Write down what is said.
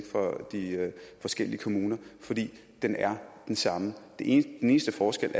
for de forskellige kommuner den er den samme den eneste forskel